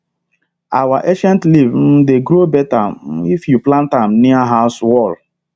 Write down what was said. our scent leaf um dey grow better um if you plant am near house wall